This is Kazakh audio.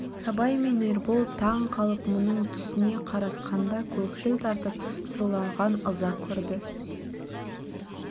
абай мен ербол таңқалып мұның түсіне қарасқанда көкшіл тартып сұрланған ыза көрді